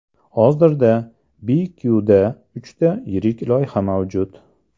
Hozirda BQ’da uchta yirik loyiha mavjud.